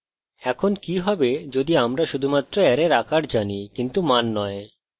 এখন কি হবে যদি আমরা শুধুমাত্র অ্যারের আকার জানি কিন্তু মান নয়